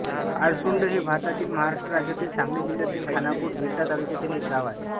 अळसुंड हे भारतातील महाराष्ट्र राज्यातील सांगली जिल्ह्यातील खानापूर विटा तालुक्यातील एक गाव आहे